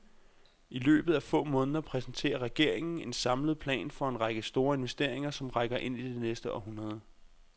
I løbet af få måneder præsenterer regeringen en samlet plan for en række store investeringer, som rækker ind i det næste århundrede.